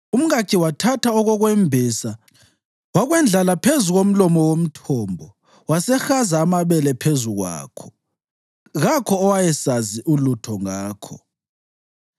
Umkakhe wathatha okokwembesa wakwendlala phezu komlomo womthombo wasehaza amabele phezu kwakho. Kakho owayesazi ulutho ngakho.